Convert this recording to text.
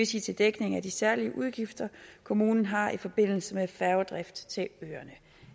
sige til dækning af de særlige udgifter kommunen har i forbindelse med færgedrift til øerne